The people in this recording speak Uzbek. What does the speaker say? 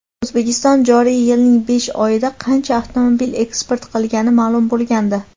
O‘zbekiston joriy yilning besh oyida qancha avtomobil eksport qilgani ma’lum bo‘lgandi.